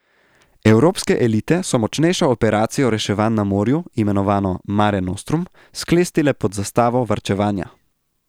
Evropske elite so močnejšo operacijo reševanj na morju, imenovano Mare Nostrum, sklestile pod zastavo varčevanja.